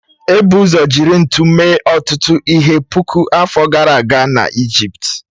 Ebu ụzọ jiri ntu mee ọtụtụ ihe puku afọ gara aga n'Ijipt